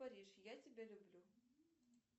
париж я тебя люблю